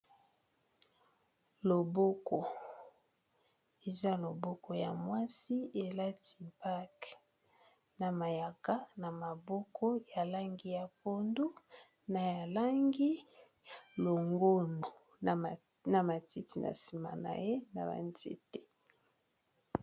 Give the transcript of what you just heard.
Loboko eza loboko ya mwasi elati bague na mayaka na maboko ya langi ya pondu na ya langi ya longondo na matiti na nsima na ye na ba nzete.